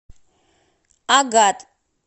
агат